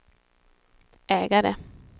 ägare